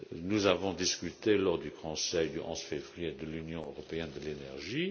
Nous avons discuté, lors du Conseil du 11 février, de l'Union européenne de l'énergie.